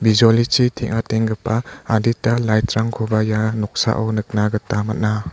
bijolichi teng·atenggipa adita light-rangkoba ia noksao nikna gita man·a.